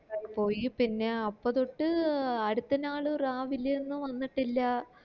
പോയി പിന്നെ അപ്പൊ തൊട്ട് അടുത്ത നാള് രാവിലെ ഒന്നു വന്നിട്ടില്ല